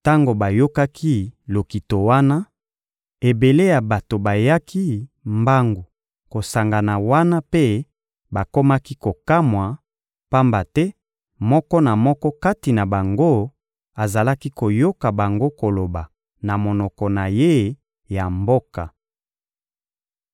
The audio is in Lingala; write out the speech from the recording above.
Tango bayokaki lokito wana, ebele ya bato bayaki mbangu kosangana wana mpe bakomaki kokamwa, pamba te moko na moko kati na bango azalaki koyoka bango koloba na monoko na ye ya mboka.